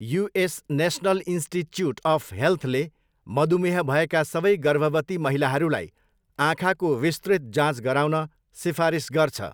US national institute of हेल्थले मधुमेह भएका सबै गर्भवती महिलाहरूलाई आँखाको विस्तृत जाँच गराउन सिफारिस गर्छ।